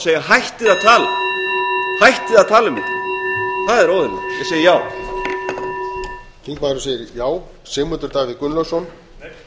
segja hættið að tala hættið að tala um þetta það er óeðlilegt ég segi já